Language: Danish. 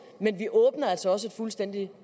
men vi åbner altså også et fuldstændig